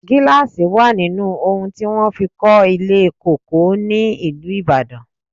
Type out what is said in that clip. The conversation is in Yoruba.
Gíláàsì wà nínú oun ti wọn fi kó ilé Cocoa ní ìlú Ìbàdàn.